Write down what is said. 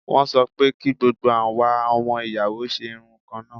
Wọ́n sọ pé kí gbogbo àwa ọmọ ìyàwó ṣe irun kan náà.